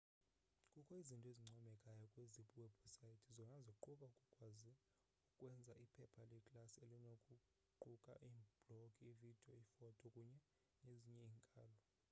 kukho izinto ezincomekayo kwezi webhusayithi zona ziquka ukukwazi ukwenza iphepha leklasi elinokuquka iiblogi iividiyo iifoto kunye nezinye iinkalo